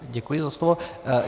Děkuji za slovo.